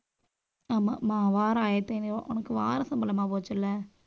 ஆமாம் மா ~ வாரம் ஆயிரத்தி ஐநூறு ரூபாய். உனக்கு வார சம்பளமா போச்சு இல்லை